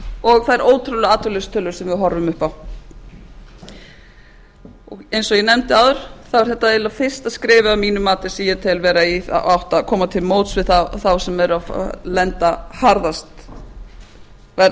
og þær ótrúlegu atvinnuleysistölur sem við horfum upp á eins og ég nefndi áður er þetta eiginlega fyrsta skrefið að mínu mati sem ég tel vera í þá átt að koma til móts við þá sem eru að verða